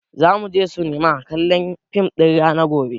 Za mu sinema kallon fim ɗin raha gobe